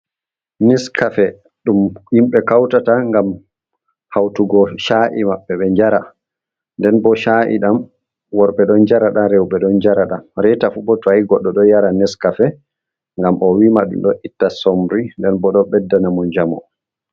Neskafe ɗum himɓe Kautata ngam hautugo Sha’i maɓɓe be njara. Nden bo Sha’i ɗam worɓe ɗon njara nda reuɓe ɗon njara. Nda reta fu bo ta Godɗo ɗo yara Neskafe ngam owima ɗum ɗo itta Somri nden bo ɗo Beddana mo njamu.